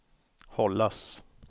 hållas